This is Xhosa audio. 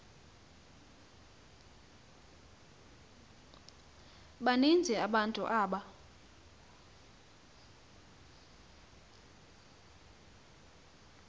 baninzi abantu aba